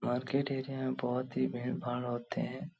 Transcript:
Market area में बहुत ही भीड़-भाड़ होते है।